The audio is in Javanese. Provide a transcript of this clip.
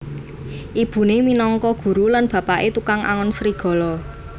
Ibune minangka guru lan bapake tukang angon serigala